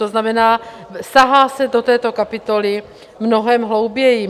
To znamená, sahá se do této kapitoly mnohem hlouběji.